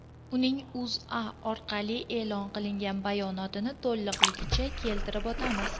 Uning O‘zA orqali e’lon qilingan bayonotini to‘lig‘icha keltirib o‘tamiz.